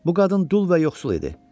Bu qadın dul və yoxsul idi.